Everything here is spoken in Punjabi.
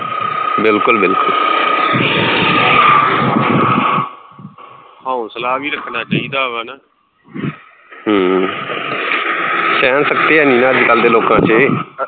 ਹੌਂਸਲਾ ਵੀ ਰੱਖਣਾ ਚਾਹੀਦਾ ਵਾ ਨਾ ਸਹਿਣ ਸ਼ਕਤੀ ਹੈਨੀ ਨਾ ਅੱਜ ਕੱਲ੍ਹ ਦੇ ਲੋਕਾਂ ਵਿੱਚ